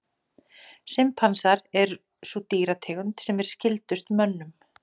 Simpansar er sú dýrategund sem er skyldust mönnum.